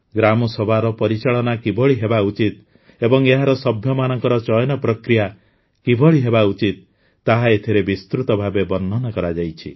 ଗ୍ରାମସଭାର ପରିଚାଳନା କିଭଳି ହେବା ଉଚିତ ଏବଂ ଏହାର ସଭ୍ୟମାନଙ୍କ ଚୟନ ପ୍ରକ୍ରିୟା କିଭଳି ହେବା ଉଚିତ ତାହା ଏଥିରେ ବିସ୍ତୃତ ଭାବେ ବର୍ଣ୍ଣନା କରାଯାଇଛି